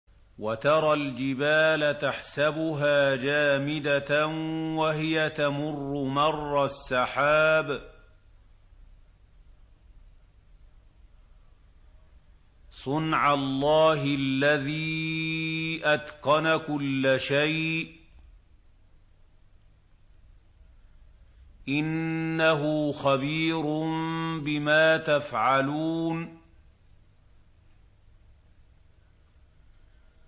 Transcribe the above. وَتَرَى الْجِبَالَ تَحْسَبُهَا جَامِدَةً وَهِيَ تَمُرُّ مَرَّ السَّحَابِ ۚ صُنْعَ اللَّهِ الَّذِي أَتْقَنَ كُلَّ شَيْءٍ ۚ إِنَّهُ خَبِيرٌ بِمَا تَفْعَلُونَ